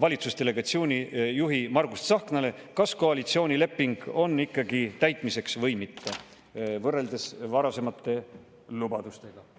valitsusdelegatsiooni juhile Margus Tsahknale: kas koalitsioonileping on ikkagi täitmiseks või mitte, võrreldes varasemate lubadustega?